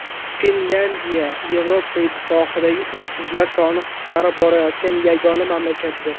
Finlyandiya Yevropa Ittifoqidagi uysizlar soni qisqarib borayotgan yagona mamlakatdir.